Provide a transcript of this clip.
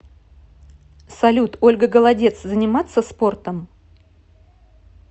салют ольга голодец заниматся спортом